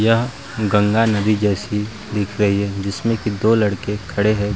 यह गंगा नदी जैसी दिख रही है जिसमें की दो लड़के खड़े हैं।